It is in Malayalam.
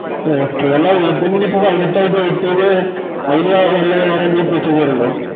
okay അല്ലാ ലെ ഇപ്പൊ പതിനെട്ടായായിറ്റ് അയിന് വേറെന്തെലും procedure ഇണ്ടോ